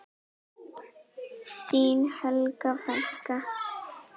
Þín Helga frænka.